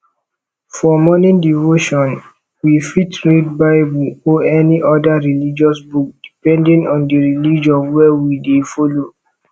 for morning devotion we fit read bible or any oda religious book depending on di religion wey we dey follow